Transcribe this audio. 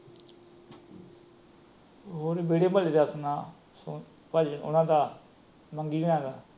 ਹੋਰ ਵੇਹੜੇ ਵਾਲੇ ਦਾ ਸੁਣਾ। ਉਹਨਾਂ ਦਾ ਮੰਗੀ ਹਰਾ ਦਾ।